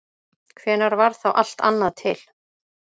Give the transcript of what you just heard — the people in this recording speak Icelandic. Hvenær varð þá allt annað til?